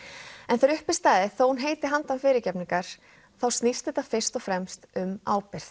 þegar uppi er staðið þó hún heitir handan fyrirgefningar þá snýst þetta fyrst og fremst um ábyrgð